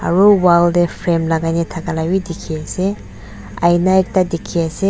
aro wall de frame lagai na daka labi diki ase aina ekta diki ase.